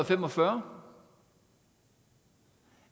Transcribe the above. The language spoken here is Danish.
fem og fyrre